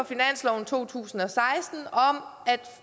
finansloven to tusind og seksten om